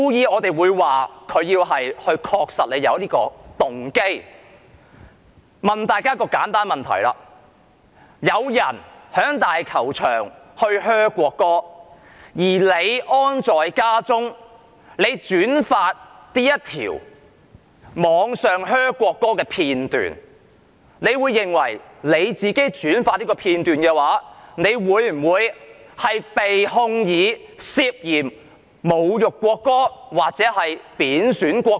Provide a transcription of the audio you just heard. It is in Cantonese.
我想問大家一個簡單的問題：有市民在香港大球場噓國歌，而你安坐家中將這段噓國歌的片段在互聯網上轉發。你認為自己轉發這片段會否被控以侮辱國歌或貶損國歌？